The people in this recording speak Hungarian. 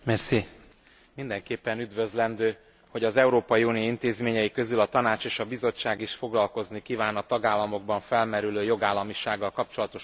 Mindenképpen üdvözlendő, hogy az Európai Unió intézményei közül a Tanács és a Bizottság is foglalkozni kíván a tagállamokban felmerülő jogállamisággal kapcsolatos problémákkal.